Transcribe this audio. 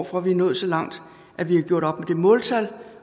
for at vi er nået så langt at vi har gjort op med måltal